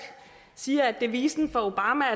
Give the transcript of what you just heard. siger at devisen for obama